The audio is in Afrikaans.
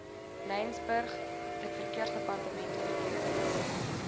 laingsburg verkeersdepartement oortredings